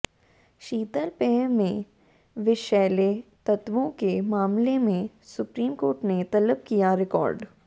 शीतलपेय में विषैले तत्वों के मामले में सुप्रीमकोर्ट ने तलब किया रिकार्ड